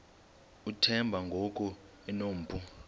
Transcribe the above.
uthemba ngoku enompu